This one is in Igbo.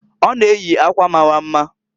Ọ na-eyi akwa mara mma.